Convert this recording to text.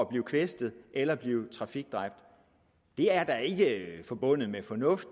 bliver kvæstet eller bliver trafikdræbt det er da ikke forbundet med fornuft